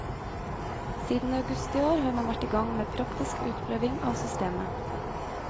Siden august i år har man vært i gang med praktisk utprøving av systemet.